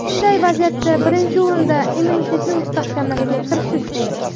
Bunday vaziyatda birinchi o‘rinda immunitetni mustahkamlashga kirishish kerak.